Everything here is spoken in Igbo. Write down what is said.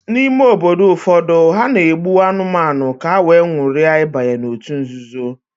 n'ime obodo ụfọdụ, ha na-egbu anụmanụ ka ha wee nwuria ibanye n'òtù nzuzo